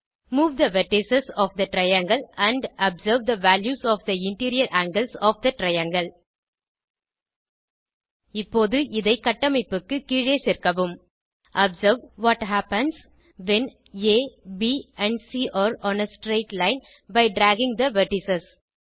move the vertex of the triangle and observe the values of the interior angles of the triangle இப்போது இதை கட்டமைப்புக்கு கீழே சேர்க்கவும் observe what happens when a b and c are on a straight line by dragging the vertices